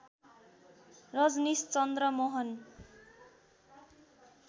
Rajneesh Chandra Mohan